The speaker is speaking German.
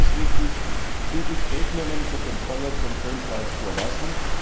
Nun ist es wichtig, zügig Regelungen zur Kontrolle von Klonfleisch zu erlassen.